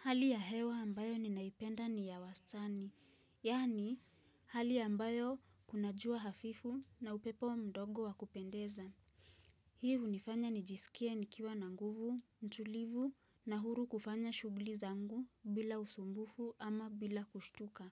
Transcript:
Hali ya hewa ambayo ninaipenda ni ya wastani, yani hali ambayo kuna jua hafifu na upepo mdogo wa kupendeza. Hii hunifanya nijiskie nikiwa na nguvu, utulivu na huru kufanya shughuli zangu bila usumbufu ama bila kushtuka.